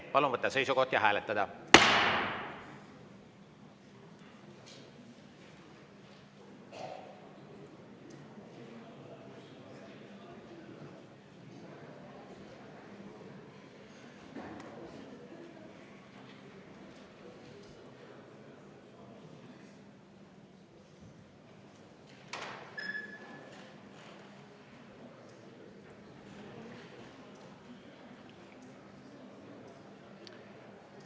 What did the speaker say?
Palun võtta seisukoht ja hääletada!